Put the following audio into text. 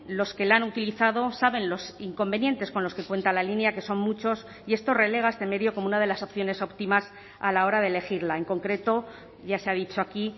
los que la han utilizado saben los inconvenientes con los que cuenta la línea que son muchos y esto relega a este medio como una de las opciones óptimas a la hora de elegirla en concreto ya se ha dicho aquí